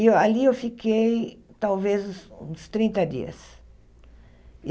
E ali eu fiquei talvez uns uns trinta dias.